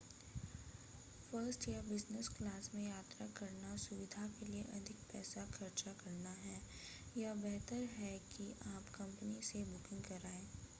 first या business class में यात्रा करना सुविधा के लिए अधिक पैसे खर्च करना है या बेहतर यह है कि आप अपनी कंपनी से बुकिंग करवाएँ